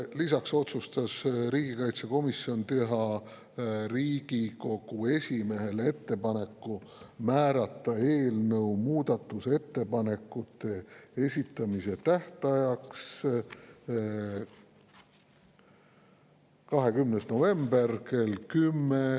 Lisaks otsustas riigikaitsekomisjon teha Riigikogu esimehele ettepaneku määrata eelnõu muudatusettepanekute esitamise tähtajaks 20. november kell 10.